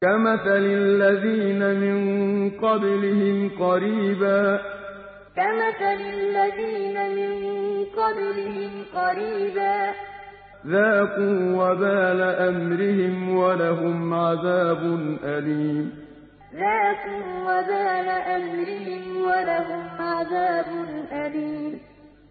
كَمَثَلِ الَّذِينَ مِن قَبْلِهِمْ قَرِيبًا ۖ ذَاقُوا وَبَالَ أَمْرِهِمْ وَلَهُمْ عَذَابٌ أَلِيمٌ كَمَثَلِ الَّذِينَ مِن قَبْلِهِمْ قَرِيبًا ۖ ذَاقُوا وَبَالَ أَمْرِهِمْ وَلَهُمْ عَذَابٌ أَلِيمٌ